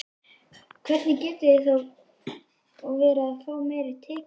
Hvernig getið þið þá verið að fá meiri tekjur?